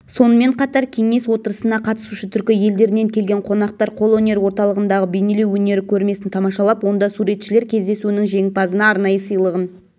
сонымен қатар кеңес отырысына қатысушы түркі елдерінен келген қонақтар қолөнер орталығындағы бейнелеу өнері көрмесін тамашалап онда суретшілер кездесуінің жеңімпазына арнайы сыйлығын